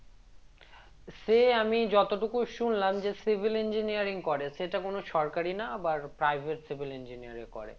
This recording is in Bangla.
সে আমি যতটুকু শুনলাম যে civil engineering করে সেটা কোন সরকারি না আবার private civil engineer এ করে